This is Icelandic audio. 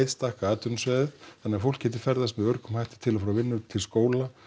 stækka atvinnusvæðið þannig að fólk geti ferðast með öruggum hætti til og frá vinnu til skóla